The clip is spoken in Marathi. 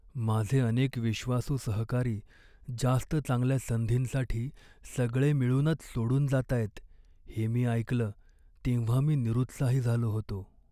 माझे अनेक विश्वासू सहकारी जास्त चांगल्या संधींसाठी सगळे मिळूनच सोडून जातायत हे मी ऐकलं तेव्हा मी निरुत्साही झालो होतो.